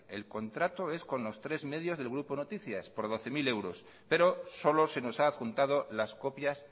el contrato es con los tres medios del grupo noticias por doce mil euros pero solo se nos ha adjuntado las copias